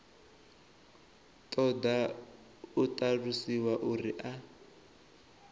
ṱoḓa u ṱalusiwa uri a